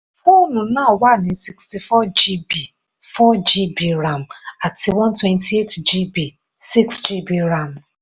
fóònù náà wà ní sixty four gb àti four gb ram àti one twenty eight gb six gb ram.